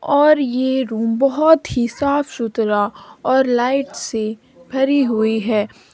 और ये रूम बहुत ही साफ सुथरा और लाइट से भरी हुई है।